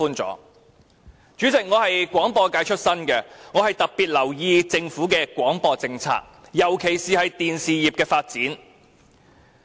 代理主席，我出身廣播界，故特別留意政府的廣播政策，尤其是電視業的發展。